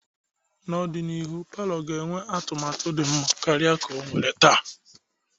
N'ọdịnihu, palọ ga-enwe atụmatụ dị mma karịa ọ nwere taa.